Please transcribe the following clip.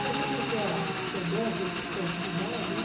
Cada um tem a sua o seu dom, su sua atividade, né?